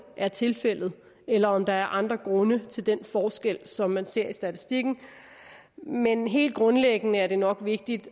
er tilfældet eller om der er andre grunde til den forskel som man ser i statistikken men helt grundlæggende er det nok vigtigt